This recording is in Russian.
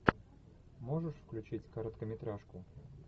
можешь включить короткометражку